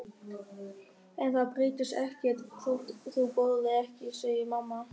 En það breytist ekkert þótt þú borðir ekki, segir mamma.